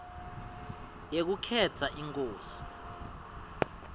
yekukhetsa inkosi